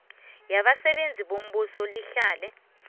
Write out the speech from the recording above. yabasebenzi bombuso lihlale